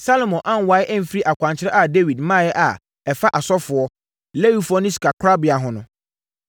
Salomo ankwae amfiri akwankyerɛ a Dawid maeɛ a ɛfa asɔfoɔ, Lewifoɔ ne sikakorabea ho no.